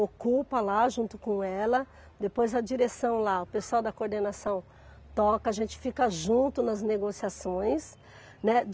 Ocupa lá junto com ela, depois a direção lá, o pessoal da coordenação toca, a gente fica junto nas negociações, né.